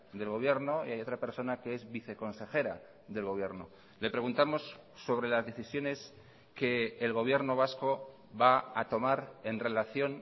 del gobierno y hay otra persona que es viceconsejera del gobierno le preguntamos sobre las decisiones que el gobierno vasco va a tomar en relación